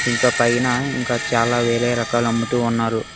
ఇంకా పైన ఇంకా చాలా వేరే రకాల అమ్ముతూ ఉన్నారు